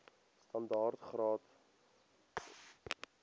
standaard graad or